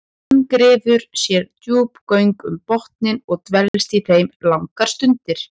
Hann grefur sér djúp göng um botninn og dvelst í þeim langar stundir.